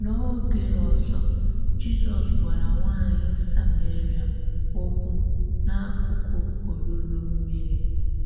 N’ógè òzọ́, Jízọ́s gwàrà nwányị̀ Samérià òkwú n’ákụkụ̀ òlúlụ̀ mmíri.